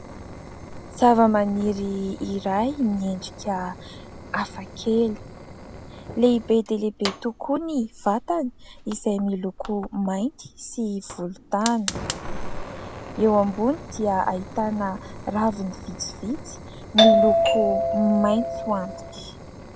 Zavamaniry iray miendika hafakely, lehibe dia lehibe tokoa ny vatany izay miloko mainty sy volontany. Eo ambony dia ahitana raviny vitsivitsy miloko maitso antitra.